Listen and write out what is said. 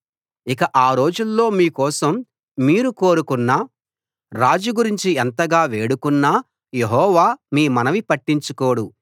ఇక ఆ రోజుల్లో మీకోసం మీరు కోరుకొన్న రాజు గురించి ఎంతగా వేడుకొన్నా యెహోవా మీ మనవి పట్టించుకోడు